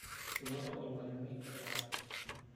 eipoto olmalimui olikae